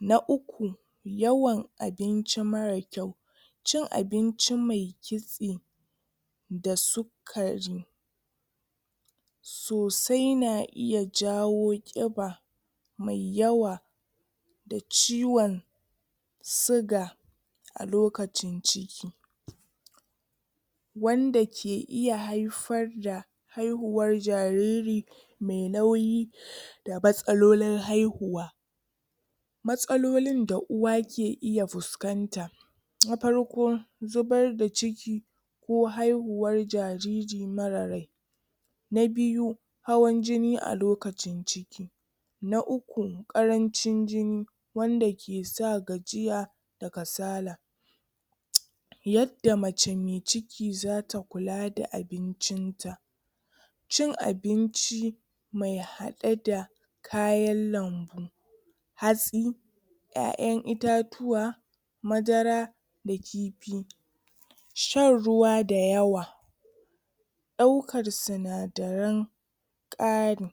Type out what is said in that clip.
Na uku yawan abinci marar kyau. Cin abinci mai kitse da sukari sosai na iya jawo ƙiba mai yawa da ciwon siga a lokacin ci wanda ke iya haifar da haihuwar jariri mai nauyi da matsalolin haihuwa. Matsalolin da uwa ke iya fuskanta; Na farko, zubar da ciki ko haihuwar jariri marar rai. Na biyu hawaun-jini a lokacin ciki. Na uku, ƙarancin jini wanda ke sa gajiya da kasala. Yadda mace mai ciki za ta kula da abincin ta; cin abinci mai haɗe da kayan lambu, hatsi, ƴaƴa itatuwa, madara, da kifi, shan ruwa da yawa, ɗaukar sinadaran ƙari